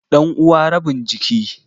Ɗanuwa rabin jiki.